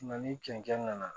ni cɛncɛn na